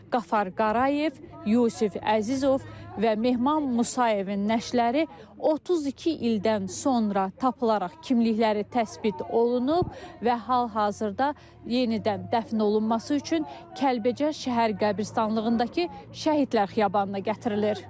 Qafar Qarayev, Yusif Əzizov və Mehman Musayevin nəşləri 32 ildən sonra tapılaraq kimlikləri təsbit olunub və hal-hazırda yenidən dəfn olunması üçün Kəlbəcər Şəhər qəbirstanlığındakı şəhidlər xiyabanına gətirilir.